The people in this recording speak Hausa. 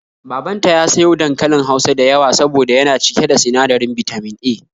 Babanta ya sayo dankalin Hausa da yawa soboda yana cike da sinadirin Bitamin A